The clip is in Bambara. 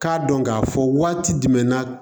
K'a dɔn k'a fɔ waati jumɛn na